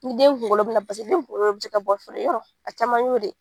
Ni den kungolo bɛ na pase den kungolo bɛ jɛ ka bɔ fɔlɔ yɔrɔ a caman y'o ye.